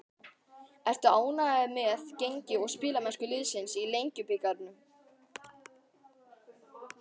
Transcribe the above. Ertu ánægður með gengi og spilamennsku liðsins í Lengjubikarnum?